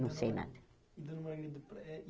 Não sei nada.